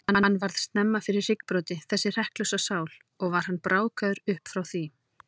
Hann varð snemma fyrir hryggbroti, þessi hrekklausa sál, og var hann brákaður upp frá því.